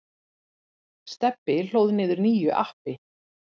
Stebbi hlóð niður nýju appi.